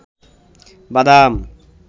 বাদাম